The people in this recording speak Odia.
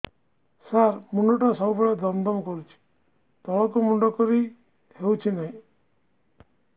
ସାର ମୁଣ୍ଡ ଟା ସବୁ ବେଳେ ଦମ ଦମ କରୁଛି ତଳକୁ ମୁଣ୍ଡ କରି ହେଉଛି ନାହିଁ